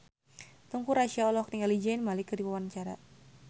Teuku Rassya olohok ningali Zayn Malik keur diwawancara